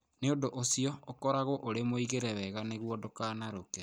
Nĩ ũndũ ũcio, ũkoragwo ũrĩ mũigĩre wega nĩguo ndũkanarũke.